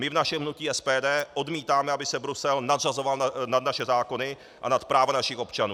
My v našem hnutí SPD odmítáme, aby se Brusel nadřazoval nad naše zákony a nad práva našich občanů.